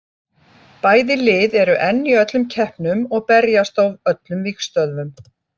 Bæði lið eru enn í öllum keppnum og berjast á öllum vígstöðvum.